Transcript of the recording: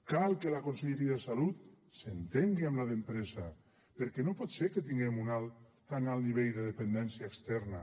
cal que la conselleria de salut s’entengui amb la d’empresa perquè no pot ser que tinguem un tan alt nivell de dependència externa